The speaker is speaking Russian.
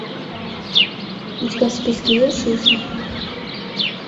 у тебя в списке есть жизнь